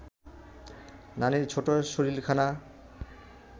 নানির ছোট্ট শরীরখানা